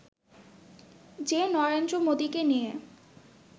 যে নরেন্দ্র মোদিকে নিয়ে